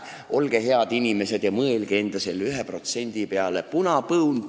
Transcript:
Olge head inimesed ja mõelge selle enda 1% peale!